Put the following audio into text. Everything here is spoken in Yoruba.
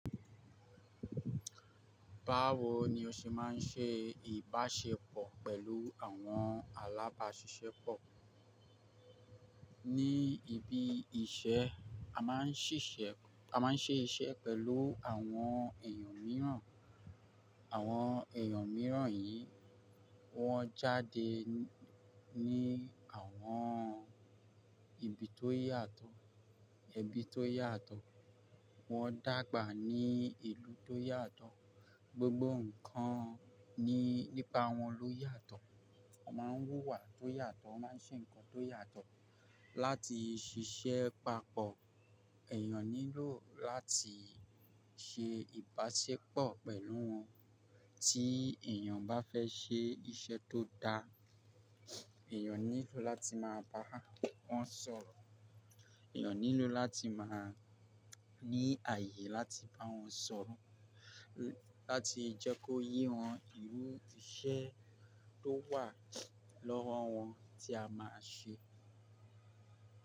Báwo ni o ṣe máa ń ṣe ìbáṣepọ̀ pẹ̀lú àwọn alábáṣiṣẹ́pọ̀? Ní ibi iṣẹ́ a máa ń ṣiṣẹ́, a máa ń ṣe iṣẹ́ pẹ̀lú àwọn èèyàn mìíràn. Àwọn èyàn mìíràn yìí, wọ́n jáde ní àwọn ibi tó yàtọ̀, ẹbí tó yàtọ̀, wọ́n dàgbà ní ìlú tó yàtọ̀. Gbogbo ǹkan ní nípa wọn ló yàtọ̀. Wọ́n máa ń wùwà tó yàtọ̀, wọ́n máa ń ṣe ǹkan tó yàtọ̀. Láti ṣiṣẹ́ papọ̀, èèyàn nílò láti ṣe ìbáṣepọ̀ pẹ̀lú wọn. Tí èèyàn bá fẹ́ ṣe iṣẹ́ tó dá, èèyàn nílò láti máa bá wọn sọ̀rọ̀. Èèyàn nílò láti máa ní àyè láti bá wọn sọ̀rọ̀, láti jẹ́ kó yé wọn irú iṣẹ́ tó wà lọ́wọ́ wọn tí a máa ṣe.